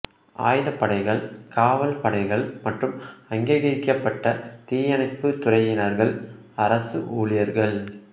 ஆயுதப்படைகள் காவல் படைகள் மற்றும் அங்கீகரிக்கப்பட்ட தீயணைப்பு துறையினர்கள் அரசு ஊழியர்கள்